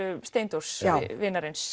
Steindórs vinarins